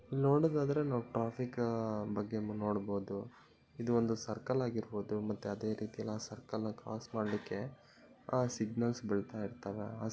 ಇಲ್ಲಿ ನೋಡೋದಾದ್ರೆ ನಾವು ಟ್ರಾಫಿಕ್ ಬಗ್ಗೆ ನೋಡ್ಬೋದು ಇದು ಒಂದು ಸರ್ಕಲ್ ಆಗಿರ್ಬೋದು ಮತ್ತೆ ಅದೆ ರೀತಿಯಲ್ಲಿ ಸರ್ಕಲ್ ಕ್ರಾಸ್ ನ ಮಾಡ್ಲಿಕ್ಕೆ ಸಿಗ್ನಲ್ಸ್ ಬೀಳ್ತಾ ಇರ್ತವೆ.